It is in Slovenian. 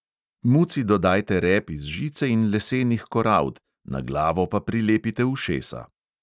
Muci dodajte rep iz žice in lesenih korald, na glavo pa prilepite ušesa.